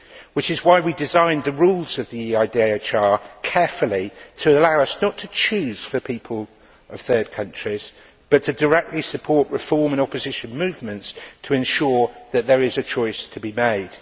Which is why we designed the rules of the EIDHR carefully, to allow us not to choose for people of third countries but to directly support reform and opposition movements to ensure that there is a choice to be made.